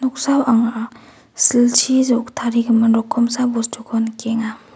noksao anga silchi rok-tarigimin rokomsa bostuko nikenga.